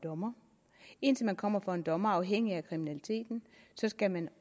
dommer indtil man kommer for en dommer afhængigt af kriminaliteten skal man